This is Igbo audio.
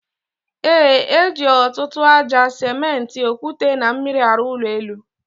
E, eji ọtụtụ aja, simenti, okwute na mmiri arụ ụlọ elu